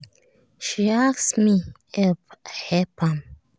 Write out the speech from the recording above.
she ask me help i help am